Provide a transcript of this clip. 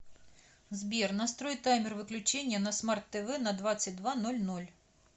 сбер настрой таймер выключения на смарт тв на двадцать два ноль ноль